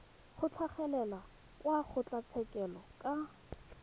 go tlhagelela kwa kgotlatshekelo ka